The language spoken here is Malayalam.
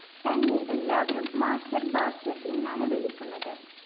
തന്നെ എല്ലാവരും മാസ്റ്റർ ബ്ലാസ്റ്റർ എന്നാണു വിളിക്കുന്നത്‌